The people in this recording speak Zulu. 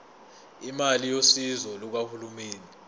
imali yosizo lukahulumeni